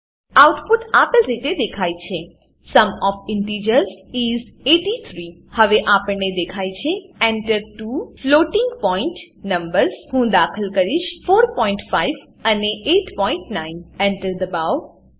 output આપેલ રીતે દેખાય છે સુમ ઓએફ ઇન્ટિજર્સ ઇસ 83 હવે આપણને દેખાય છે Enter two floating point numbers હું દાખલ કરીશ 45 અને 89 Enter દબાવો